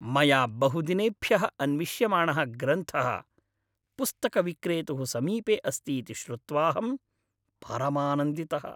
मया बहुदिनेभ्यः अन्विष्यमाणः ग्रन्थः पुस्तकविक्रेतुः समीपे अस्ति इति श्रुत्वाहं परमानन्दितः।